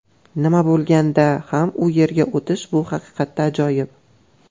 Nima bo‘lganda ham u yerga o‘tish bu haqiqatda ajoyib.